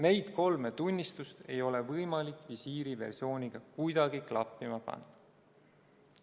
Neid kolme tunnistust ei ole võimalik visiiriversiooniga kuidagi klappima panna.